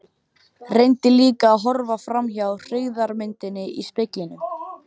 Reyndi líka að horfa framhjá hryggðarmyndinni í speglinum.